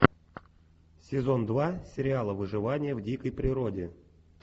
сезон два сериала выживание в дикой природе